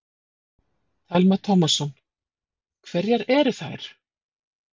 Telma Tómasson: Hverjar eru þær?